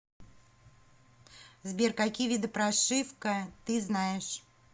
сбер какие виды прошивка ты знаешь